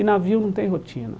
E navio não tem rotina.